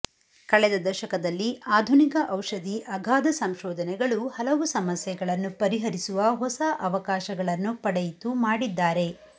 ಕಳೆದ ದಶಕದಲ್ಲಿ ಆಧುನಿಕ ಔಷಧಿ ಅಗಾಧ ಸಂಶೋಧನೆಗಳು ಹಲವು ಸಮಸ್ಯೆಗಳನ್ನು ಪರಿಹರಿಸುವ ಹೊಸ ಅವಕಾಶಗಳನ್ನು ಪಡೆಯಿತು ಮಾಡಿದ್ದಾರೆ